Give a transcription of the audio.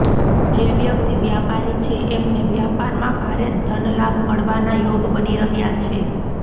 જે વ્યક્તિ વ્યાપારી છે એમને વ્યાપારમાં ભારે ધનલાભ મળવાના યોગ બની રહ્યા છે